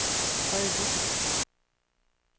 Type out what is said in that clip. Frede Dissing